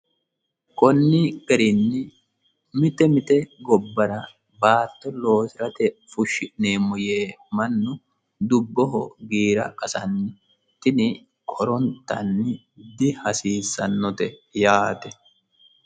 Koni garinni mite mite gobbara baatto loosirate fushi'neemmo yee Mannu dubboho giira qasano tini horontanni dihasiisanote yaate.